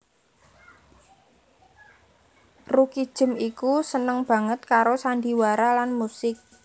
Roekijem iku seneng banget karo sandiwara lan musik